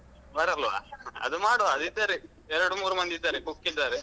ಬರಲ್ವಾ ಅದು ಮಾಡುವ ಅದು ಇದ್ದಾರೆ ಎರಡು ಮೂರು ಮಂದಿ ಇದ್ದಾರೆ cook ಇದ್ದಾರೆ.